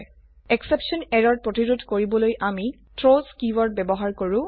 exception error প্ৰতিৰোধ কৰিবলৈ আমি থ্ৰাউছ কীওয়াৰ্ড ব্যবহাৰ কৰো